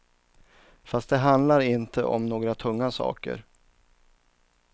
Fast det handlar inte om några tunga saker.